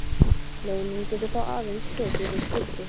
Leiðnin getur þá aðeins tekið viss gildi.